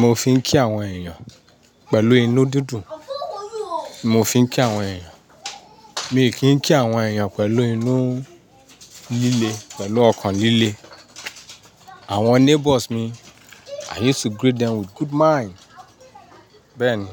Mo fi ń kí àwọn èèyàn pẹ̀lú inú dídùn. Mo fi ń kí àwọn èèyàn. Mi kì í kí àwọn èèyàn pẹ̀lú inú líle, pẹ̀lú ọkàn líle. Àwọn neighbours mi, I used to greet them with good mind. Bẹ́ẹ̀ ni.